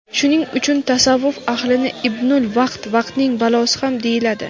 Shuning uchun tasavvuf ahlini "ibnul vaqt" (vaqtning bolasi) ham deyiladi.